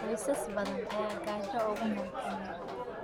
Qoysas badan ayaa gaajo ugu nool Kenya.